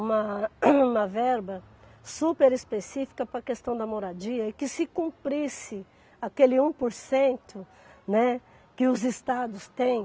uma uma verba super específica para a questão da moradia e que se cumprisse aquele um por cento, né, que os estados têm.